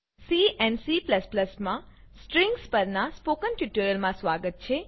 C and C strings સ્ટ્રિંગપરનાં spoken ટ્યુટોરીયલમાં સ્વાગત છે